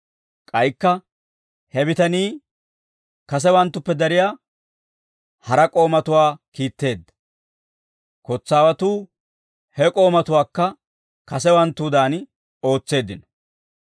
K'aykka he bitanii kasewanttuppe dariyaa hara k'oomatuwaa kiitteedda; kotsaawatuu he k'oomatuwaakka kasewanttuwaadan ootseeddino.